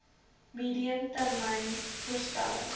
medium termyn voorstelle